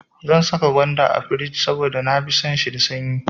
Zan saka gwanda a firij saboda na fi son shi da sanyi.